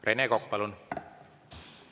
Rene Kokk, palun!